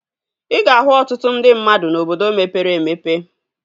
Ị ga-ahụ ọtụtụ ndị mmadụ n'obodo mepere emepe